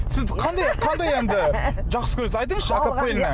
сіз қандай қандай әнді жақсы көресіз айтынызшы